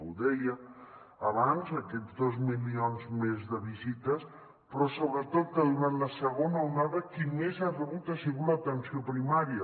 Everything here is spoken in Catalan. ho deia abans aquests dos milions més de visites però sobretot que durant la segona onada qui més ha rebut ha sigut l’atenció primària